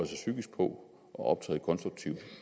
sig psykisk på at optræde konstruktivt